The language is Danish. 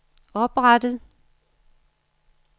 oprettet